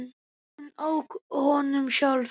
Hún ók honum sjálf.